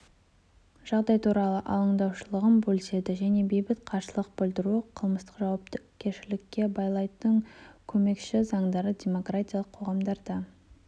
жағдай туралы алаңдаушылығын бөліседі және бейбіт қарсылық білдіруді қылмыстық жауапкершілікке балайтын көмескі заңдардың демократиялық қоғамдарда